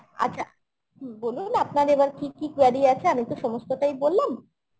তো আচ্ছা বলুন আপনার এবার কি কি query আছে আমি তো সমস্তটাই বললাম